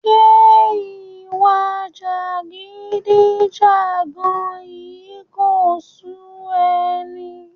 Ṣé ìwà jàgídíjàga yìí kò sú ẹ ni?